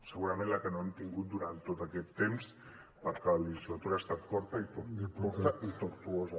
segurament la que no hem tingut durant tot aquest temps perquè la legislatura ha estat curta i tortuosa